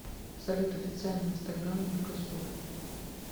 салют официальный инстаграм меркосур